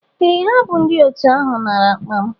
Ee ha bu ndi otu ahu nara akpa m.